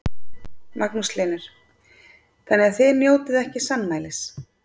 Magnús Hlynur: Þannig að þið njótið ekki sannmælis?